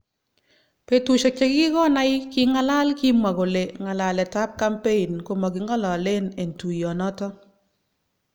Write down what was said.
Betushek chekikonai kingalal kimwa kole ngalalet tab kampein komakingalalen eng tuyo noton.